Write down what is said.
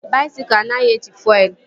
Baisikụl anaghị eji fuelu